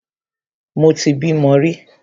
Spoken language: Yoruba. Mo ti bímo rí.